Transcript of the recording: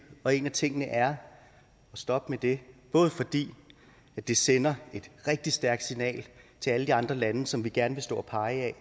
og en af tingene er at stoppe med det både fordi det sender et rigtig stærkt signal til alle de andre lande som vi gerne vil stå og pege